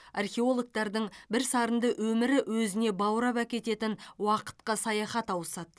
археологтардың бірсарынды өмірі өзіне баурап әкететін уақытқа саяхат ауысады